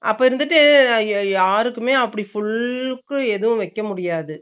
அப்பா இருந்துட்டு யாருக்குமே அப்பிடி full க்கு எதும் வைக்க முடியாது